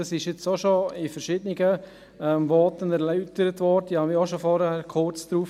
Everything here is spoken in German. Dies wurde bereits in verschiedenen Voten erläutert, und ich bezog mich vorhin auch schon kurz darauf.